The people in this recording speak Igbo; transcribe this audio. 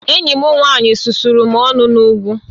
Enyi m nwanyị susuru m ọnụ n'ugwu